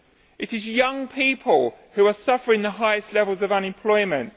It is young people who are suffering the highest levels of unemployment